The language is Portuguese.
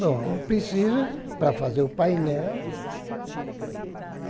Bom, preciso para fazer o painel.